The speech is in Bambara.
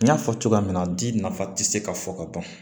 N y'a fɔ cogoya min na di nafa tɛ se ka fɔ ka ban